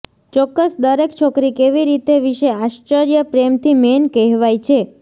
ચોક્કસ દરેક છોકરી કેવી રીતે વિશે આશ્ચર્ય પ્રેમથી મેન કહેવાય છે